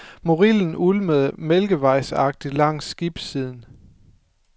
Morilden ulmede mælkevejsagtigt langs skibssiden.